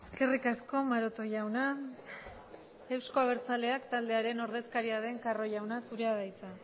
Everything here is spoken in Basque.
eskerrik asko maroto jauna euzko abertzaleak taldearen ordezkaria den carro jauna zurea da hitza